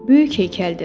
Böyük heykəldir.